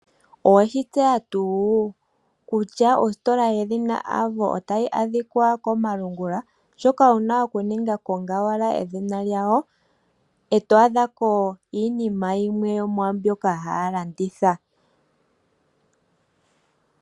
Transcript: Oweshi tseya tuu kutya ositola yedhina Avo otayi adhikwa komalungula? Shoka wuna okuninga, konga owala edhina lyawo , eto adhako iinima yimwe yomwaa mbyoka haya landitha .